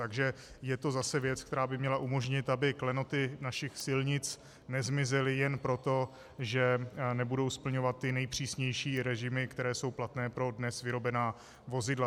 Takže je to zase věc, která by měla umožnit, aby klenoty našich silnic nezmizely jen proto, že nebudou splňovat ty nejpřísnější režimy, které jsou platné pro dnes vyrobená vozidla.